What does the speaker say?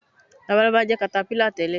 Labalábá jẹ́ katapílà tẹ̀lé